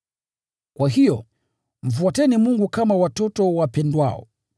Kwa hiyo, mfuateni Mungu kama watoto wapendwao,